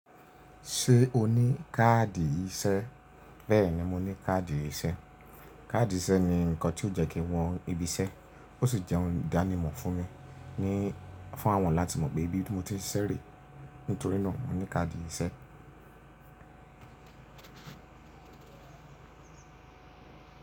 Ṣé o ní káàdì ìṣẹ́? Bẹ́ẹ̀ni mo ní káàdì ìṣẹ́. Káàdì ìṣẹ́ ni nǹkan tí ó ń jẹ́ kí wọ́n ibi iṣẹ́, ó sì jẹ́ ohun ìdánimọ̀ fún mi, ní fún àwọn láti mọ̀ pé bí mo ti ń ṣeré. Nítorí náà mo ní káàdì ìṣẹ́.